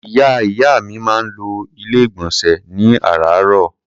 Ìyá ìyá mi máa ń lo Ilé-ìgbọ̀nsẹ̀ ní àràárọ̀.